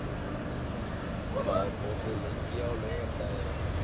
Ylfur, hvað er opið lengi á laugardaginn?